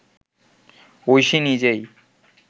ঐশী নিজেই